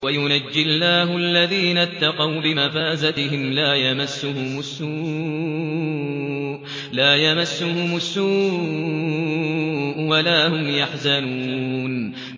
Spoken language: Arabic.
وَيُنَجِّي اللَّهُ الَّذِينَ اتَّقَوْا بِمَفَازَتِهِمْ لَا يَمَسُّهُمُ السُّوءُ وَلَا هُمْ يَحْزَنُونَ